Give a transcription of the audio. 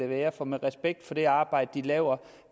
være for med respekt for det arbejde de laver